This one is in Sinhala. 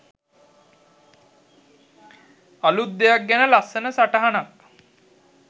අලුත් දෙයක් ගැන ලස්සන සටහනක්